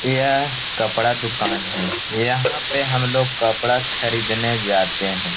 यह कपड़ा दुकान है। यहाँ पे हम लोग कपड़ा खरीदने जाते हैं।